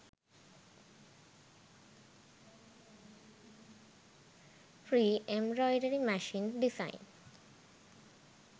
free embroidery machine designs